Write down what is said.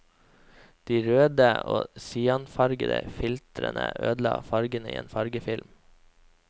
De røde og cyanfargede filtrene ødela fargene i en fargefilm.